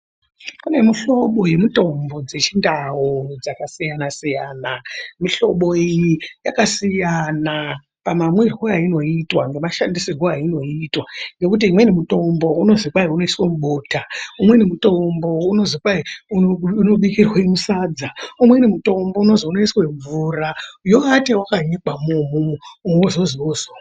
Kune muhlobo yemutombo dzechindau dzakasiyana-siyana, mihlobo iyi yakasiyana pamamwirwo ainoitwa nemashandisirwo ainoitwa ngekuti imweni mitombo unozwi kwai unoiswa mubota, umweni mutombo unozi kwai unobikirwe musadza, umweni mutombo unozwi unoiswe mvura yoata yakanyikwa mo umwomwo wozozwi wozomwa.